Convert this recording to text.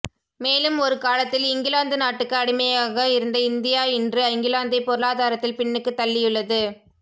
மேலும் ஒரு காலத்தில் இங்கிலாந்து நாட்டுக்கு அடிமையாக இருந்த இந்தியா இன்று இங்கிலாந்தை பொருளாதாரத்தில் பின்னுக்கு தள்ளியுள்ளது